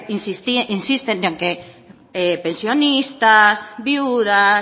insisten en que pensionistas viudas